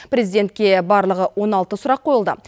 президентке барлығы он алты сұрақ қойылды